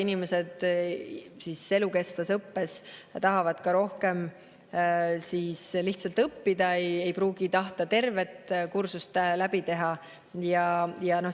Inimesed tahavad elukestvas õppes lihtsalt rohkem õppida, aga ei pruugita tahta tervet kursust läbi teha.